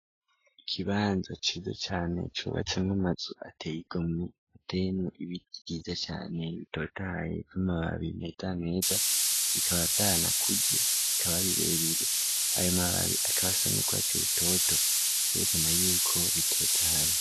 Ikibanza cizo cane cubacemwo amazu ateyga mu atemu ibiyiza cane bitotaye koamababiri meda meja bikaba vyana kuja ikababirebire ayo mababi akabasanukba vyo bitoto kerekana yuko bitotaye.